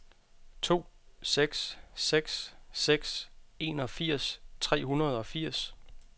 to seks seks seks enogfirs tre hundrede og firs